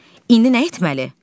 İndi nə etməli?